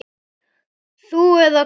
Þú eða Kári?